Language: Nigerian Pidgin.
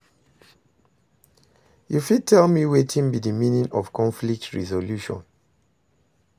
you fit tell me wetin be di meaning of conflict resolution?